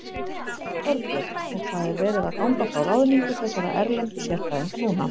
Þorbjörn: Og það er verið að ganga frá ráðningu þessara erlendu sérfræðinga núna?